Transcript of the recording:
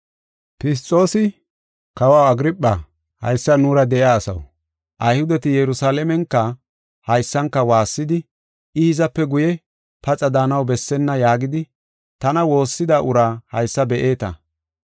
Fisxoosi, “Kawaw Agirpha, haysan nuura de7iya asaw, Ayhudeti Yerusalaamenka haysanka waassidi, ‘I hizape guye paxa daanaw bessenna’ yaagidi, tana woossida uraa haysa be7eeta.